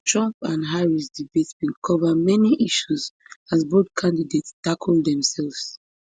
trump and harris debate bin cover many issues as both candidates tackle demsefs